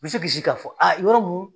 Me se k'i si ka fɔ yɔrɔ mun